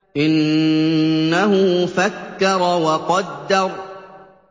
إِنَّهُ فَكَّرَ وَقَدَّرَ